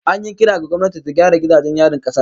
An yi kira ga gwamnati ta gyara gidajen yarin kasar